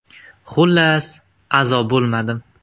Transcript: Xullas, a’zo bo‘lmadim.